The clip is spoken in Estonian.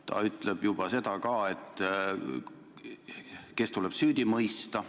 Ta ütleb juba seda ka, kes tuleb süüdi mõista.